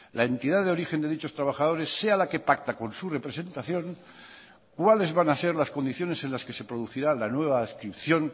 la entidad de origen de dichos trabajadores sea la que pacta con su representación cuáles van a ser las condiciones en las que se producirá la nueva adscripción